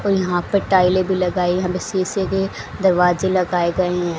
और यहां पे टाइलें भी लगाई यहां पे शीशे के दरवाजे लगाए गए हैं।